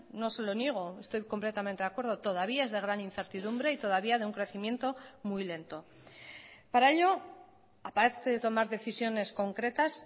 no se lo niego estoy completamente de acuerdo todavía es de gran incertidumbre y todavía de un crecimiento muy lento para ello aparte de tomar decisiones concretas